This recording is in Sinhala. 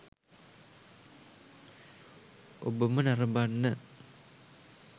ඔබම නරඹන්න.